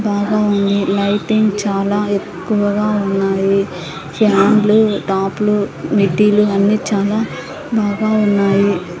బాగా ఉంది లైటింగ్ చాలా ఎక్కువగా ఉన్నాయి ఫ్యాన్లు టాపు లు మిడ్డీలు అన్నీ చాలా బాగా ఉన్నాయి.